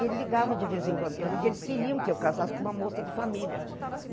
E ele ligava de vez em quando para mim, que eles queriam que eu casasse com uma moça de família.